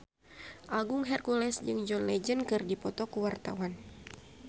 Agung Hercules jeung John Legend keur dipoto ku wartawan